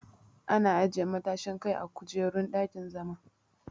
Ana ajiye matashin Kai a kujerun dakin-zama.